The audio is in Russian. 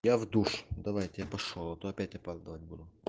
я в душ давайте я пошёл а то опять опоздывать буду